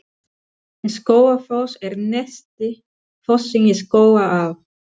Skógafoss er neðsti fossinn í Skógaá.